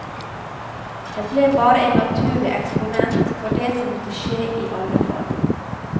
Jeg ble bare en naturlig eksponent for det som måtte skje i alle fall.